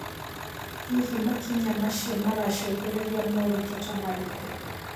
Hihi makinya macio maracũngĩrĩria moritũ ta marĩkũ?